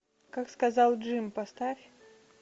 как сказал джим поставь